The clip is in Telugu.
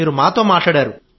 మీరు మాతో మాట్లాడారు